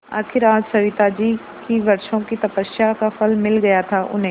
आखिर आज सविताजी की वर्षों की तपस्या का फल मिल गया था उन्हें